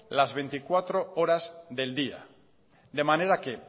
las veinticuatro horas del día de manera que